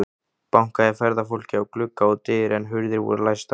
Bankaði ferðafólkið á glugga og dyr, en hurðir voru læstar.